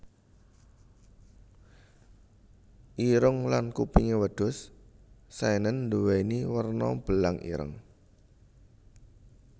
Irung lan kupingé wedhus Saenen nduwéni werna belang ireng